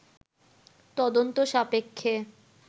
তদন্ত সাপেক্ষে